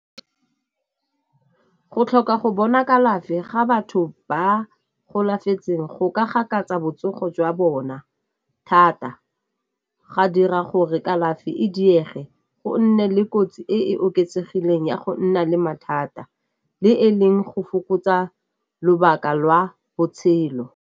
Go tlhoka go bona kalafi ga batho ba golafetseng go ka gakatsa botsogo jwa bona thata, ga dira gore kalafi e diege, go nne le kotsi e e oketsegileng ya go nna le mathata le e leng go fokotsa lobaka lwa botshelo.